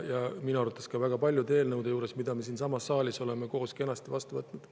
Minu arvates ei ole neid olnud ka väga paljude eelnõude juures, mis me siinsamas saalis oleme koos kenasti vastu võtnud.